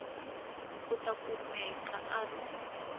u ta kumeka a ri